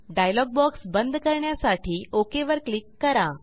dialogue box बंद करण्यासाठी OK वर क्लिक करा